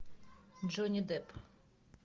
джонни депп